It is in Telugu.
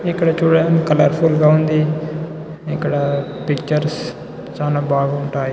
ఇక్కడ చుడండి కలర్ ఫుల్ గ ఉంది ఇక్కడ పిక్చర్స్ చాన బాగుంటాయి.